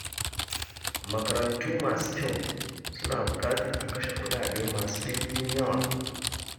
Makarantu masu kyau suna buƙatar a kashe kuɗaɗe masu ɗimbin yawa